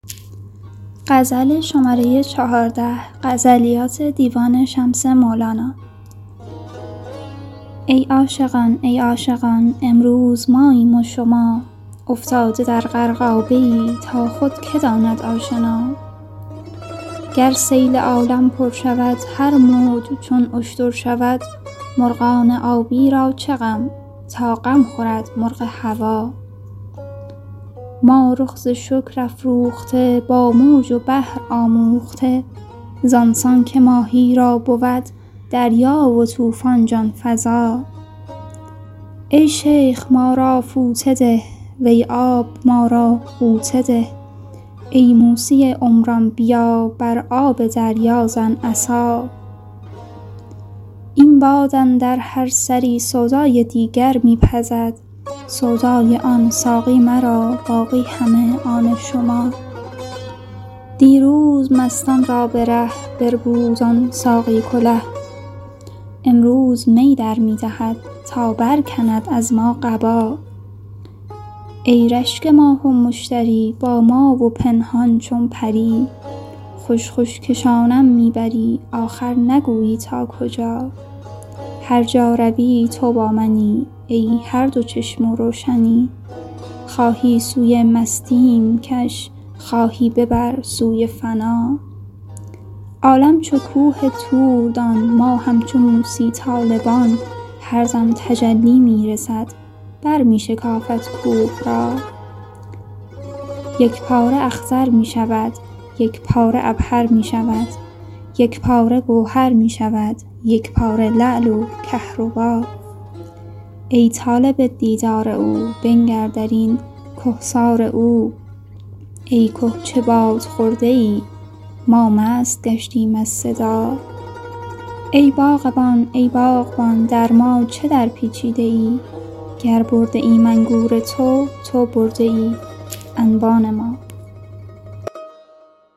ای عاشقان ای عاشقان امروز ماییم و شما افتاده در غرقابه ای تا خود که داند آشنا گر سیل عالم پر شود هر موج چون اشتر شود مرغان آبی را چه غم تا غم خورد مرغ هوا ما رخ ز شکر افروخته با موج و بحر آموخته زان سان که ماهی را بود دریا و طوفان جان فزا ای شیخ ما را فوطه ده وی آب ما را غوطه ده ای موسی عمران بیا بر آب دریا زن عصا این باد اندر هر سری سودای دیگر می پزد سودای آن ساقی مرا باقی همه آن شما دیروز مستان را به ره بربود آن ساقی کله امروز می در می دهد تا برکند از ما قبا ای رشک ماه و مشتری با ما و پنهان چون پری خوش خوش کشانم می بری آخر نگویی تا کجا هر جا روی تو با منی ای هر دو چشم و روشنی خواهی سوی مستیم کش خواهی ببر سوی فنا عالم چو کوه طور دان ما همچو موسی طالبان هر دم تجلی می رسد برمی شکافد کوه را یک پاره اخضر می شود یک پاره عبهر می شود یک پاره گوهر می شود یک پاره لعل و کهربا ای طالب دیدار او بنگر در این کهسار او ای که چه باده خورده ای ما مست گشتیم از صدا ای باغبان ای باغبان در ما چه درپیچیده ای گر برده ایم انگور تو تو برده ای انبان ما